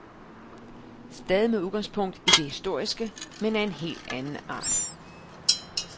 Stadig med udgangspunkt i det historiske, men af en helt anden art.